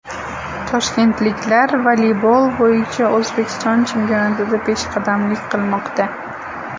Toshkentliklar voleybol bo‘yicha O‘zbekiston chempionatida peshqadamlik qilmoqda.